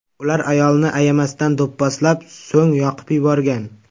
Ular ayolni ayamasdan do‘pposlab, so‘ng yoqib yuborgan.